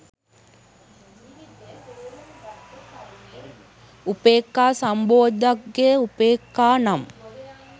උපෙක්ඛා සම්බොජ්ක්‍ධංගය උපේක්ඛා නම්